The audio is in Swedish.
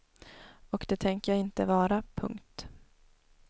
Och det tänker jag inte vara. punkt